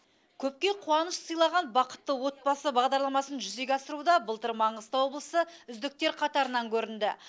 көпке қуаныш сыйлаған бақытты отбасы бағдарламасын жүзеге асыруда былтыр маңғыстау облысы үздіктер қатарынан көрінді